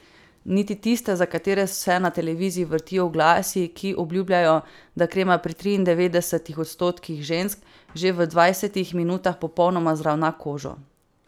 Niti tiste, za katere se na televiziji vrtijo oglasi, ki obljubljajo, da krema pri triindevetdesetih odstotkih žensk že v dvajsetih minutah popolnoma zravna kožo.